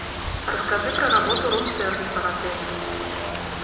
расскажи про работу рум сервиса в отеле